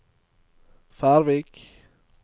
Færvik